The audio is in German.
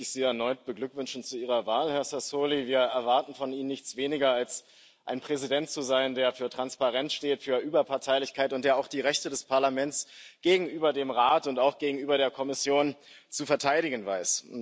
Erst mal möchte ich Sie erneut beglückwünschen zu Ihrer Wahl, Herr Sassoli. Wir erwarten von Ihnen nichts weniger, als ein Präsident zu sein, der für Transparenz, für Überparteilichkeit steht und der auch die Rechte des Parlaments gegenüber dem Rat und auch gegenüber der Kommission zu verteidigen weiß.